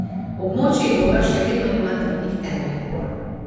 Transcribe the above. Območje evra še vedno nima trdnih temeljev.